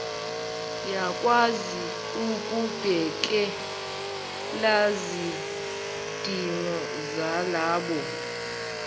yakwazi ukubhekelaizidingo zalabo